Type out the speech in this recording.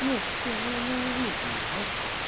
не не ну вы увидеть её а